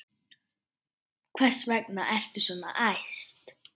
Hvers vegna ertu svona æst?